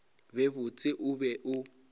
be botse o be o